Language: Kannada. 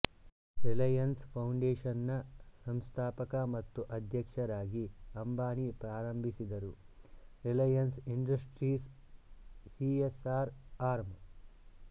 ರಿಲಯನ್ಸ್ ಫೌಂಡೇಶನ್ನ ಸಂಸ್ಥಾಪಕ ಮತ್ತು ಅಧ್ಯಕ್ಷರಾಗಿ ಅಂಬಾನಿ ಪ್ರಾರಂಭಿಸಿದರು ರಿಲಯನ್ಸ್ ಇಂಡಸ್ಟ್ರೀಸ್ನ ಸಿಎಸ್ಆರ್ ಆರ್ಮ್